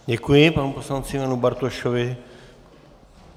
Děkuji panu poslanci Janu Bartošovi.